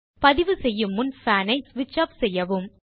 பதிவு செய்யும் முன் பான் ஐ ஸ்விட்ச் ஆஃப் செய்யவும்